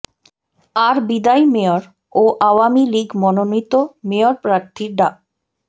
আর বিদায়ী মেয়র ও আওয়ামী লীগ মনোনীত মেয়র প্রার্থী ডা